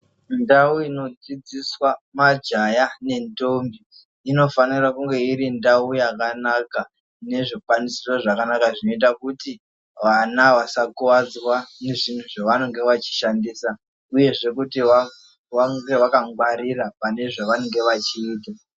Ndau inodzidziswa majaya nendombi inofanira kunge iri ndau yakanaka ine zvikwanisiro zvakanaka zvinoita kuti vana vasakuvadzwa nezvinhu zvevanenge vachishandisa, uyezve kuti vange vakangwarira pane zvavanenge vachiita.